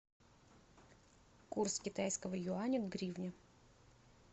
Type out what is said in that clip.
курс китайского юаня к гривне